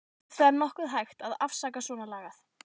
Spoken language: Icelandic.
Ef það er nokkuð hægt að afsaka svonalagað.